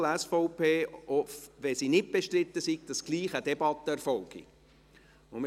Diese Erhöhung darf nicht innerhalb des ERZ Budgets kompensiert werden.